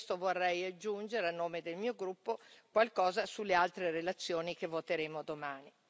Per questo vorrei aggiungere, a nome del mio gruppo, qualcosa sulle altre relazioni che voteremo domani.